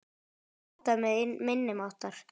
Halda með minni máttar.